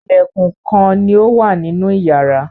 Ilẹ̀kùn kán ní ọ wá nínú iyàrá.